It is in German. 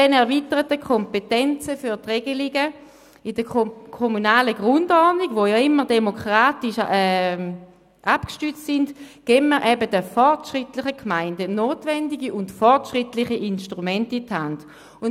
Mit den erweiterten Kompetenzen für die Regelungen in der kommunalen Grundordnung, die immer demokratisch abgestützt sind, geben wir den fortschrittlichen Gemeinden notwendige und fortschrittliche Instrumente in die Hand.